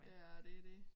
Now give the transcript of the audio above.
Ja og det dét